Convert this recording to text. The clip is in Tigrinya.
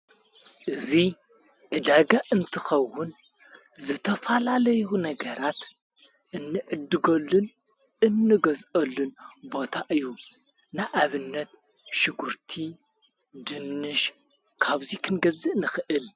እዙይ እዳጋ እንትኸውን ዝተፋላለይሁ ነገራት እንእድጐሉን እንገዝኦሉን ቦታ እዩ ንኣብነት ሽጕርቲ ድንሽ ካብዙይ ክንገዝእ ንኽእል።